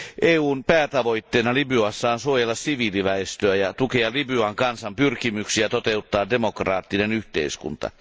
EUn päätavoitteena Libyassa on suojella siviiliväestöä ja tukea Libyan kansan pyrkimyksiä toteuttaa demokraattinen yhteiskunta.